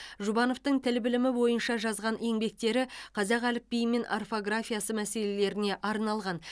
жұбановтың тіл білімі бойынша жазған еңбектері қазақ әліпбиі мен орфографиясы мәселелеріне арналған